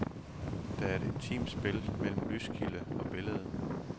Der er et intimt spil mellem lyskilde og billede.